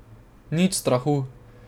Nič strahu.